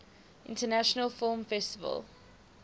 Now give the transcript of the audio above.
international film festival